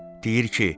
Deyir ki,